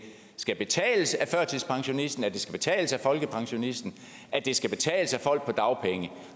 skal betales af førtidspensionisten at det skal betales af folkepensionisten at det skal betales af folk på dagpenge